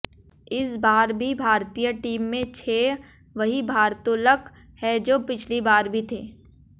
इस बार भी भारतीय टीम में छह वही भारत्तोलक हैं जो पिछली बार भी थे